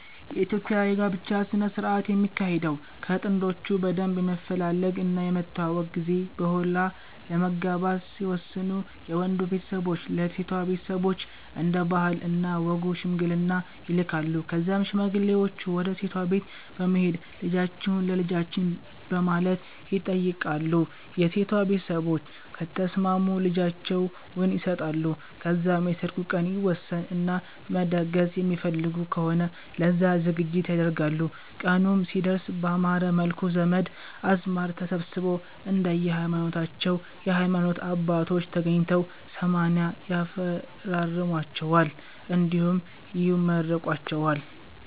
የኢትዮጵያ የ ጋብቻ ስነ ስረአት የሚካሄደው ከ ጥንዶቹ በደንብ የመፈላለግ እና የመተዋወቅ ጊዜ በሆላ ለመጋባት ሲወስኑ የ ወንዱ ቤተሰቦች ለ ሴቷ ቤተሰቦች እንደ ባህል እና ወጉ ሽምግልና ይልካሉ ከዛም ሽማግሌወቹ ወደ ሴቷ ቤት በመሄድ ልጃቺሁን ለ ልጃቺን በማለት ይተይቃሉ የ ሴቷ ቤተሰቦች ከተስማሙ ልጃቸውን ይሰጣሉ ከዛም የ ሰርጉ ቀን ይወሰን እና መደገስ የሚፈልጉ ከሆነ ለዛ ዝግጅት ያደርጋሉ ቀኑም ሲደርስ ባማረ መልኩ ዘመድ አዝማድ ተሰብስቦ፣ እንደየ ሀይማኖታቸው የ ሀይማኖት አባቶች ተገኝተው 80 ያፈራርሟቸዋል እንዲሁም ይመርቋቸዋል